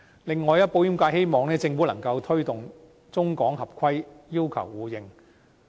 此外，保險界希望，政府能夠推動中港合規要求互認。